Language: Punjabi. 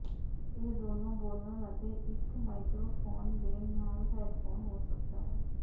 ਇਹ ਦੋਨੋ ਬੋਲਣ ਅਤੇ ਇੱਕ ਮਾਈਕਰੋਫੋਨ ਦੇ ਨਾਲ ਹੈੱਡਫੋਨ ਹੋ ਸਕਦਾ ਹੈ